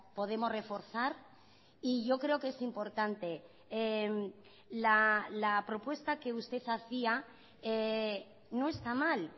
podemos reforzar y yo creo que es importante la propuesta que usted hacía no está mal